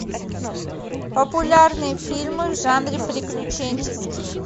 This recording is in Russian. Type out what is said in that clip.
популярные фильмы в жанре приключенческий